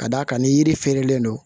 Ka d'a kan ni yiri feerelen don